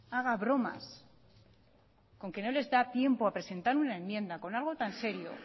haga bromas con que no les da tiempo a presentar una enmienda con algo tan serio